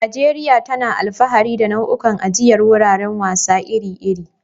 Najeriya tana alfahari da nau'ikan ajiyar wuraren wasa iri-iri.